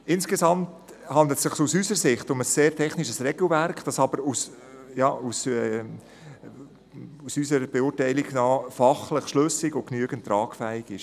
Insgesamt handelt es sich aus unserer Sicht um ein sehr technisches Regelwerk, das aber fachlich schlüssig und ausreichend tragfähig ist.